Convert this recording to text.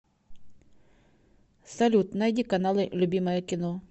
салют найди каналы любимое кино